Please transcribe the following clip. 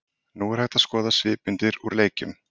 Nú er hægt að skoða svipmyndir úr leikjunum.